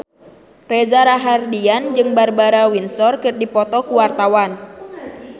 Reza Rahardian jeung Barbara Windsor keur dipoto ku wartawan